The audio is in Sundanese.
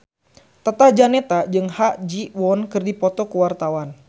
Tata Janeta jeung Ha Ji Won keur dipoto ku wartawan